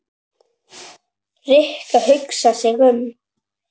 Rikka hugsar sig um.